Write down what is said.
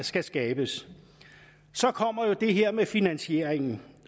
skal skabes så kommer jo det her med finansieringen